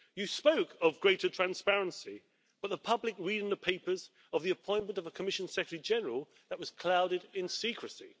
He spoke of greater transparency but the public read in the papers of the appointment of a Commission Secretary-General that was clouded in secrecy.